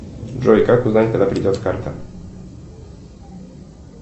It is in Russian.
джой как узнать когда придет карта